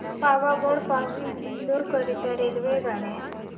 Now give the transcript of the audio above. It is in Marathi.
पावागढ पासून इंदोर करीता रेल्वेगाड्या